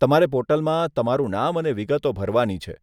તમારે પોર્ટલમાં તમારું નામ અને વિગતો ભરવાની છે.